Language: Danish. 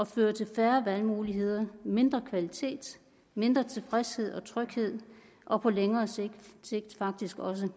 føre til færre valgmuligheder mindre kvalitet mindre tilfredshed og mindre tryghed og på længere sigt faktisk også